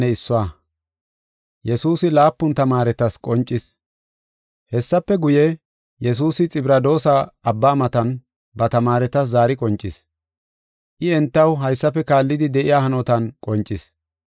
Hessafe guye, Yesuusi Xibradoosa Abba matan ba tamaaretas zaari qoncis. I entaw haysafe kaallidi de7iya hanotan qoncis.